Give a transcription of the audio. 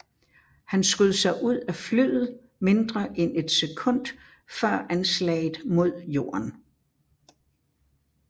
Han skød sig ud af flyet mindre end et sekund før anslaget mod jorden